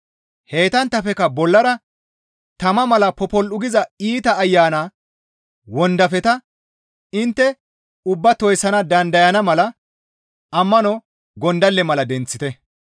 Heytanttafekka bollara tama mala popol7u giza iita ayana wondafeta intte ubbaa toyssana dandayana mala ammano gondalle mala denththite.